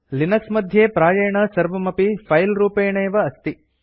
Linux मध्ये प्रायेण सर्वमपि फिले रूपेणैव अस्ति